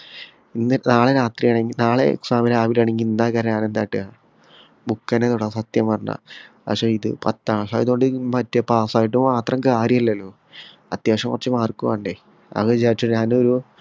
ഇന്ന് നാള രാത്രിയാണെങ്കി നാളെ exam രാവിലെയാണങ്കി ഇന്ന് എന്താക്കാ ഞാനെന്ത് കാട്ടുവാ book ന്നെ തൊടാ സത്യം പറഞ്ഞാ പക്ഷേ ഇത് പത്താം class ആയതൊണ്ട് ഉം മറ്റേ pass ആയിട്ട് മാത്രം കാര്യല്ലല്ലോ അത്യാവശ്യം കൊറച്ചു mark വേണ്ടേ അത് വിചാരിച്ച ഞാനൊരു